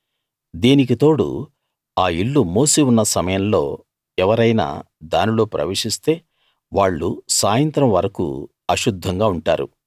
దీనికి తోడు ఆ ఇల్లు మూసి ఉన్న సమయంలో ఎవరైనా దానిలో ప్రవేశిస్తే వాళ్ళు సాయంత్రం వరకూ అశుద్ధంగా ఉంటారు